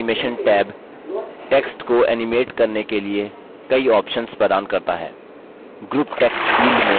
text animation tab text को animate करने के लिए कई options प्रदान करता है